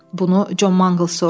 Bunu Con Mangls soruşdu.